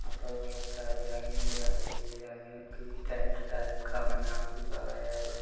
यहां पे बोहोत सरे आदमी दिखाई दे रहें हैं जो की टेंट टाइप का बना हुआ है। बहुत--